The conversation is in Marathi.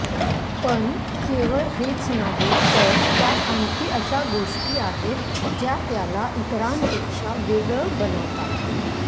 पण केवळ हेच नाही तर त्यात आणखी अशा गोष्टी आहेत ज्या त्याला इतरांपेक्षा वेगळं बनवतात